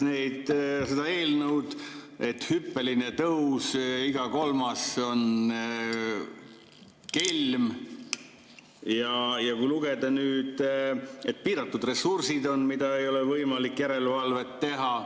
Loen sellest eelnõust, et hüppeline tõus, iga kolmas on kelm, piiratud ressursid on, ei ole võimalik järelevalvet teha.